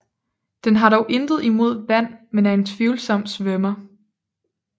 Den har dog intet imod vand men er en tvivlsom svømmer